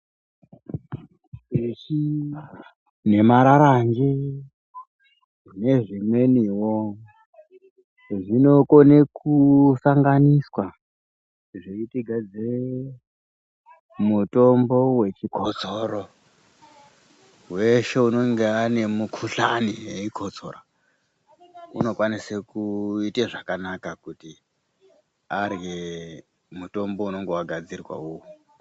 Uchi nemararanje nezvimweniwo zvinokone kusanganwiswa zveitigadzirire mutombo wechikotsoro weshe unonge ane mukuhlani eikotsora unokwanise kuite zvakanaka kuti arye mutombo unenge wagadzirwa uyu.